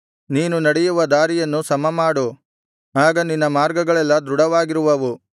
ನೀನು ನಡೆಯುವ ದಾರಿಯನ್ನು ಸಮಮಾಡು ಆಗ ನಿನ್ನ ಮಾರ್ಗಗಳೆಲ್ಲಾ ದೃಢವಾಗಿರುವವು